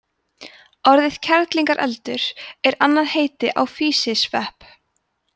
orðið kerlingareldur er annað heiti á físisvepp